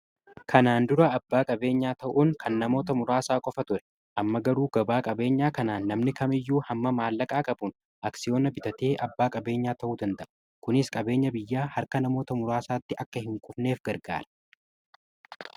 Kanaan dura abbaa qabeenyaa ta'uun kan namoota muraasaa qofa ture . amma garuu abbaa qabeenyaa kanaan namni kamiyyuu hamma maallaqaa qabuun aksiyoona bitatee abbaa qabeenyaa ta'uu danda'u . kunis qabeenya biyya harka namoota muraasaatti akka hin kufneef gargaara.